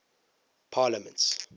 parliaments